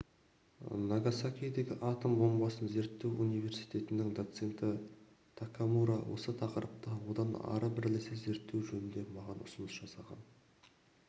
нагасакидегі атом бомбасын зерттеу университетінің доценті такамура осы тақырыпта одан ары бірлесе зерттеу жөнінде маған ұсыныс жасаған